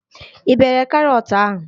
Ị bere karọt ahụ?